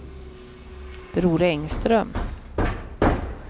Bror Engström